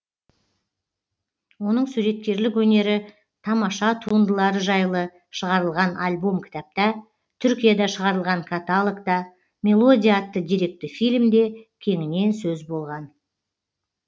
оның суреткерлік өнері тамаша туындылары жайлы шығарылған альбом кітапта түркияда шығарылған каталогта мелодия атты деректі фильмде кеңінен сөз болған